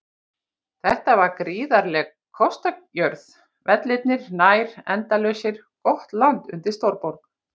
Þetta var gríðarleg kostajörð, vellirnir nær endalausir, gott land undir stórborg.